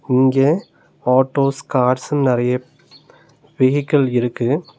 இங்க ஆட்டோஸ் கார்ஸ்னு நெறைய வெஹிக்கள் இருக்கு.